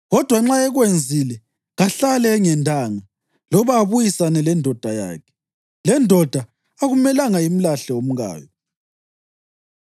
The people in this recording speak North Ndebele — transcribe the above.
Kodwa nxa ekwenzile, kahlale engendanga loba abuyisane lendoda yakhe. Lendoda akumelanga imlahle umkayo.